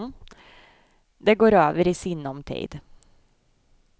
Det går över i sinom tid.